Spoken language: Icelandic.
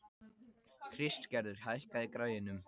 Kristgerður, hækkaðu í græjunum.